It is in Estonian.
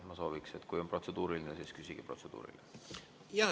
Ma sooviksin, et kui on protseduuriline, siis küsige protseduuri kohta.